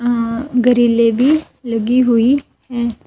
अ गरीले भी लगी हुई है.